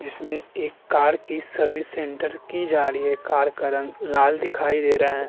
जिसमे एक कार की सर्विस सेंटर की जाडी है कार का रंग लाल दिखाई दे रहा है।